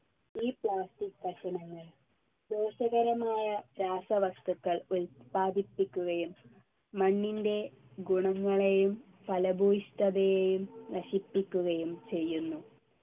ഈ plastic കഷണങ്ങൾ ദോഷകരമായ രാസവസ്തുക്കൾ ഉൽപാദിപ്പിക്കുകയും മണ്ണിൻ്റെ ഗുണങ്ങളെയും ഫലഭൂഷ്ഠതയെയും നശിപ്പിക്കുകയും ചെയ്യുന്നു